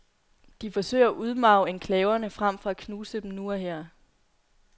De forsøger at udmarve enklaverne frem for at knuse dem nu og her.